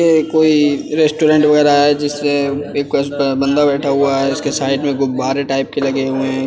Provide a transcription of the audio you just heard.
ये कोई रेस्टोरेंट वगैरह है जिससे एक बंदा बैठा हुआ है उसके साइड में गुब्बारे टाइप के लगे हुए हैं।